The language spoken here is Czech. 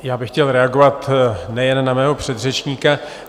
Já bych chtěl reagovat nejen na mého předřečníka.